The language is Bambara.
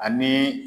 Ani